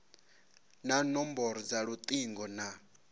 na nomboro dza lutingo na